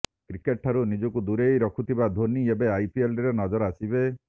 cricket ଠାରୁ ନିଜକୁ ଦୂରେଇ ରଖିଥିବା ଧୋନି ଏବେ ଆଇପିଏଲ୍ରେ ନଜର ଆସିବେ